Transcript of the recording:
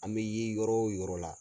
An bɛ ye yɔrɔ o yɔrɔ la.